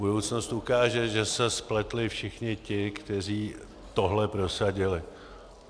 Budoucnost ukáže, že se spletli všichni ti, kteří tohle prosadili.